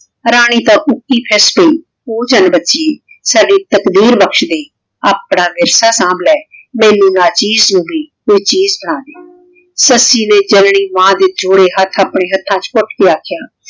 ਰਾਨੀ ਤਾਂ ਊ ਜਾਨ ਬਚੀ ਸਾਡੀ ਤਾਕ਼ਦੀਰ ਬਕਸ਼ ਲੈ ਆਪਣਾ ਸੰਭ ਲੇ ਮੇਨੂ ਨਾਚੀਜ਼ ਨੂ ਵੀ ਆਯ ਚੀਜ਼ ਬਣਾ ਦੇ ਸੱਸੀ ਨੇ ਜਾਨਨੀ ਮਾਨ ਦੇ ਜੂਰੀ ਹੇਠ ਅਪਨੇ ਹਥਾਂ ਵਿਚ ਕੁਟ ਕੇ ਆਖੇ